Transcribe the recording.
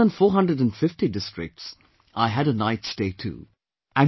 In more than four hundred & fifty districts, I had a night stay too